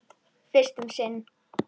Fyrst um sinn.